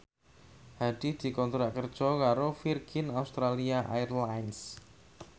Hadi dikontrak kerja karo Virgin Australia Airlines